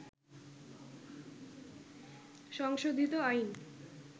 সংশোধিত আইন